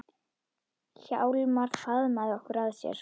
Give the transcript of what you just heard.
Hjálmar faðmaði okkur að sér.